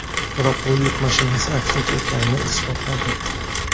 Biroq bu yuk mashinasi aksincha ekanini isbotladi.